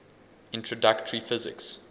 introductory physics